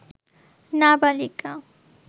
নাবালিকা